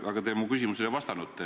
Aga te mu küsimusele ei vastanud.